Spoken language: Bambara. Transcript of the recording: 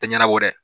Tɛ ɲɛnɛbɔ dɛ